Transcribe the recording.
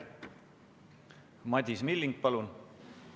Madis Milling, palun!